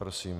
Prosím.